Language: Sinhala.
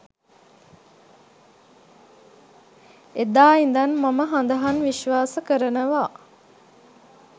එදා ඉඳන් මම හඳහන් විශ්වාස කරනවා.